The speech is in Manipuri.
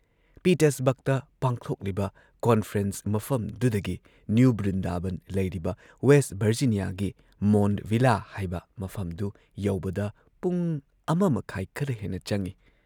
ꯄꯤꯇꯔꯁꯕꯔꯒꯇ ꯄꯥꯡꯊꯣꯛꯂꯤꯕ ꯀꯣꯟꯐ꯭ꯔꯦꯟꯁ ꯃꯐꯝꯗꯨꯗꯒꯤ ꯅ꯭ꯌꯨ ꯕ꯭ꯔꯤꯟꯗꯥꯕꯟ ꯂꯩꯔꯤꯕ ꯋꯦꯁꯠ ꯚꯔꯖꯤꯅꯤꯌꯥꯒꯤ ꯃꯣꯟꯗ ꯚꯤꯜꯂꯥ ꯍꯥꯏꯕ ꯃꯐꯝꯗꯨ ꯌꯧꯕꯗ ꯄꯨꯡ ꯱.꯳꯰ ꯈꯔ ꯍꯦꯟꯅ ꯆꯪꯏ ꯫